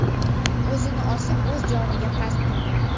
o‘zini osib o‘z joniga qasd qilgan.